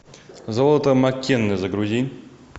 золото маккенны загрузи